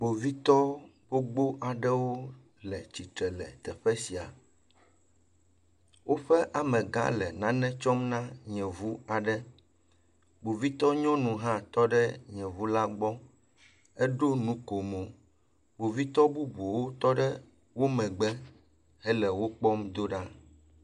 Kpovitɔ gbogbo aɖewo le tsitre le teƒe sia. Woƒe amegã le nane tsɔm na yevu aɖe. Kpovitɔ nyɔnu hã tɔ ɖe yevu la gbɔ. Eɖo nukomɔ, kpovitɔ bubuwo tɔ ɖe wo megbe hele wokpɔm do ɖa.